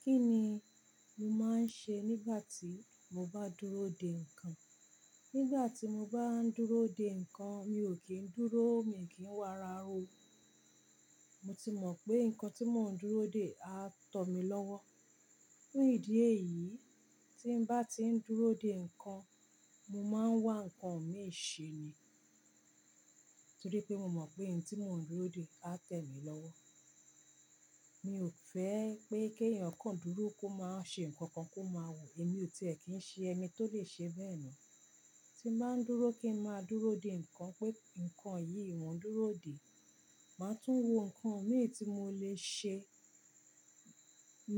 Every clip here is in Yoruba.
Kí ni mo máa ń ṣe nígbà tí mo bá dúró dè nǹkan? Nígbà tí mo bá ń dúró dè nǹkan, mi ò kí ń dúró, mi ò kí ń wà rara o. Mo ti mọ̀ pé nǹkan tí mò ń dúró dè á tọ̀ mí lọ́wọ́. Fun ìdí èyí, tí n bá ti ń dúró dè nǹkan, mo máa ń wá nǹkan mi ṣe ni. Torí pé mo mọ̀ pé ohun tí mò ń dúró dè á tẹ mí lọ́wọ́. Mi ò fẹ́ pé kí ènìyàn kan dúró kó máa ṣe nǹkan kan kó máa wò, èmi ò tí ẹ kí ń ṣe ẹni tó lè ṣe bẹ́ẹ̀ náà. Tí n bá ń dúró kí ń máa dúró dè nǹkan pé nǹkan yìí mò ń dúró dè, màá tún wo nǹkan mi tí mò lè ṣe.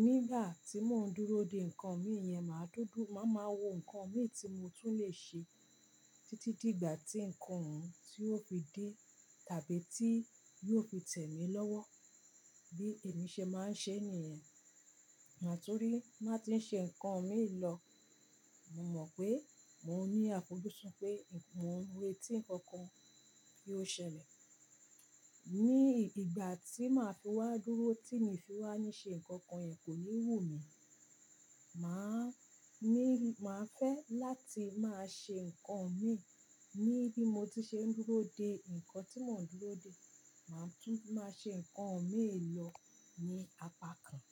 Nígbà tí mò ń dúró dè nǹkan mi yẹn, màá dúdú, màá ma wò nǹkan mi tí mo tún lè ṣe títí dígbà tí nǹkan ọhun tí ó fi dé tàbí tí yóò fi tẹ mí lọ́wọ́. Bí èmi ṣe máa ń ṣe nìyẹn, à torí má tí ń ṣe nǹkan mi lọ, mo mọ̀ pé mò ń ní àfojúsùn pé nǹkan, mo n retí nǹkan kan kí ó ṣẹlẹ̀. Ní ìgbà tí màá fi wá dúró, tí mi fi wá ní ṣe nǹkan kan yẹn, kò ní wù mí. Màá ní, màá fẹ́ láti máa ṣe nǹkan mi níbí mo ti ṣe ń dúró dè nǹkan tí mò ń dúró dè. Màá tún máa ṣe nǹkan mi lọ ní apá kan.